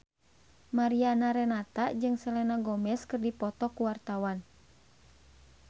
Mariana Renata jeung Selena Gomez keur dipoto ku wartawan